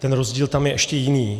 Ten rozdíl tam je ještě jiný.